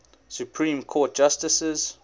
supreme court justices